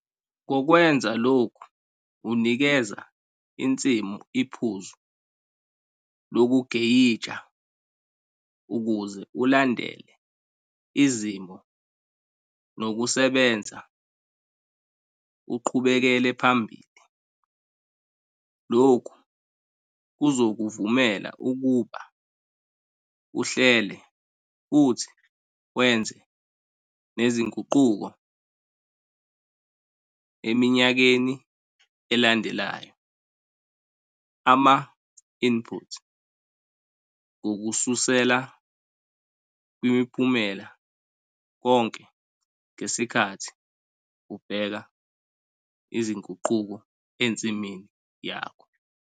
Ngokwenza lokhu unikeza insimu iphuzu lokugeyija ukuze ulandele izimo nokusebenza uqhubekele phambili. Lokhu kuzokuvumela ukuba uhlele futhi wenze nezinguquko eminyakeni elandelayo ama-input ngokususela kwimiphumela konke ngesikhathi ubheka izinguquko ensimini yonke.